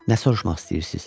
Nə soruşmaq istəyirsiz?